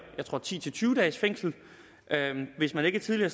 jeg tror ti til tyve dages fængsel hvis man ikke tidligere